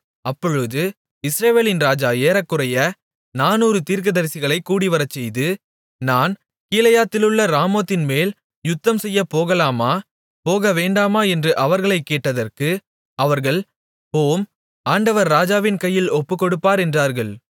அப்பொழுது இஸ்ரவேலின் ராஜா ஏறக்குறைய நானூறு தீர்க்கதரிசிகளைக் கூடிவரச்செய்து நான் கீலேயாத்திலுள்ள ராமோத்தின்மேல் யுத்தம்செய்யப்போகலாமா போக வேண்டாமா என்று அவர்களைக் கேட்டதற்கு அவர்கள் போம் ஆண்டவர் ராஜாவின் கையில் ஒப்புக்கொடுப்பார் என்றார்கள்